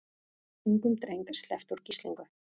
Ungum dreng sleppt úr gíslingu